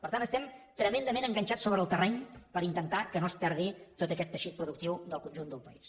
per tant estem tremendament enganxats sobre el terreny per intentar que no es perdi tot aquest teixit productiu del conjunt del país